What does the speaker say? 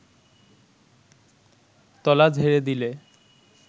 তলা ঝেড়ে দিলে